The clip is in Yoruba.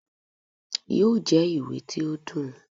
yóò jẹ ìwé tí o dùn.